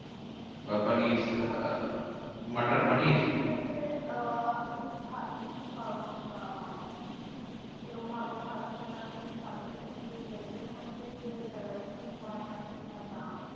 বা পানির আহ মটর পানির। হচ্ছে যে আহ আপনি কি খাচ্ছেন? কারণ আহ কিরাম ভাবে খাচ্ছেন? আর কি খাচ্ছেন? because veg এর মধ্যে যে varieties হয়না সেটা না।